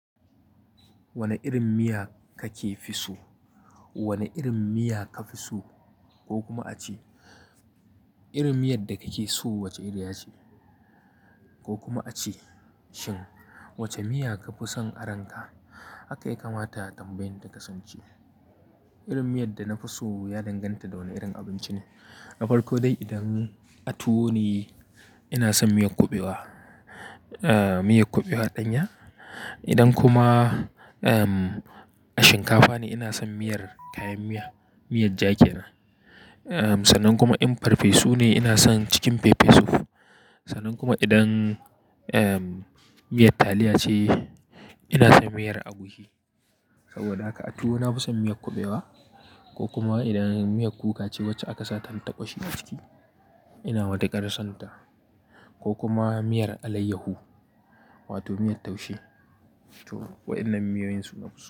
Wane irin miya kake fi so? Wane irin miya ka fi so ko kuma a ce irin miyar da kake so wace iriya ce? Ko kuma a ce shin wace miya ka fi son a ranka? Haka ya kamata tambayan ta kasance. Irin miyar da na fi so ya danganta da wane irin abinci ne. Na farko dai idan tuwo ne, ina son miyar kuɓewa, miyar kuɓewa ɗanya. Idan kuma shinkafa ne ina son miyar kayan miya, miyar ja ke nan. Sanan kuma in farfesu ne ina son chicken pepper soup. Sanan kuma idan miyar taliya ce ina son miyar agushi. Saboda haka a tuwo na fi son miyar kuɓewa ko kuma idan miyar kuka ce wacce aka sa tantaƙoshi a ciki ina matuƙar son ta. Ko kuma miyar alaiyahu wato miyar taushe to waɗannan miyoyin su nafi so.